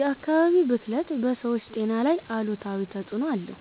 የ አካባቢ ብክለት በ ሰወች ጤና ላይ አሉታዊ ተፅእኖ አለው